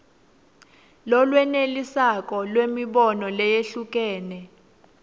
lolwenelisako lwemibono leyehlukene